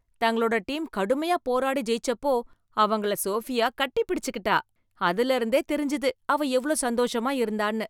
தங்களோட டீம் கடுமையான போராடி ஜெயிச்சப்போ அவங்கள சோஃபியா கட்டிப்பிடிச்சுகிட்டா, அதிலயிருந்தே தெரிஞ்சது அவ எவ்ளோ சந்தோஷமா இருந்தான்னு.